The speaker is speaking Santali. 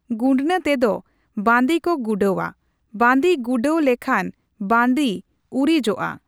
ᱜᱩᱰᱱᱟᱹ ᱛᱮᱫᱚ ᱵᱟᱺᱫᱤ ᱠᱚ ᱜᱩᱰᱟᱹᱣᱟ ᱾ ᱵᱟᱺᱫᱤ ᱜᱩᱰᱟᱹᱣ ᱞᱮᱠᱷᱟᱱ ᱵᱟᱺᱫᱤ ᱩᱨᱤᱡᱚᱜ ᱟ ᱾